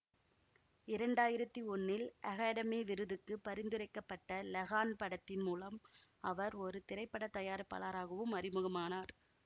இரண்டாயிரத்தி ஒன்னில் அகாடெமி விருதுக்குப் பரிந்துரைக்க பட்ட லகான் படத்தின் மூலம் அவர் ஒரு திரைப்பட தயாரிப்பாளராகவும் அறிமுகமானார்